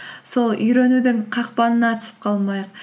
сол үйренудің қақпанына түсіп қалмайық